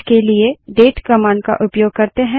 इसके लिए date command का उपयोग करते हैं